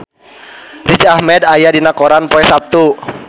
Riz Ahmed aya dina koran poe Saptu